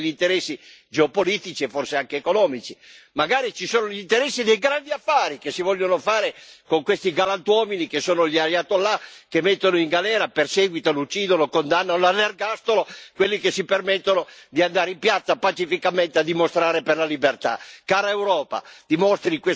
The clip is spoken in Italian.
Allora la spiegazione è una sola è che ci siano degli interessi geopolitici, e forse anche economici, magari ci sono gli interessi dei grandi affari che si vogliono fare con questi galantuomini che sono gli Ayatollah, che mettono in galera, perseguitano, uccidono, condannano all'ergastolo quelli che si permettono di andare in piazza pacificamente a dimostrare per la libertà.